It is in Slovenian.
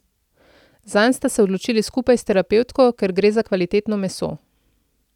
Zanj sta se odločili skupaj s terapevtko, ker gre za kvalitetno meso.